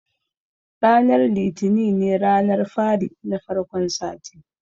Ranar litini ne ranar fari na farkon sati